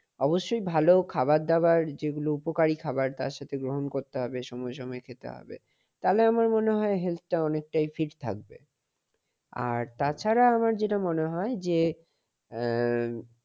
অবশ্যই ভালো খাবার-দাবার যেগুলো উপকারী আবার সেগুলো গ্রহণ করতে হবে সময়ে সময়ে খেতে হবে। তাহলে আমার মনে হয় health টা অনেকটাই fit থাকবে। আর তাছাড়া আমার যেটা মনে হয় যে, আহ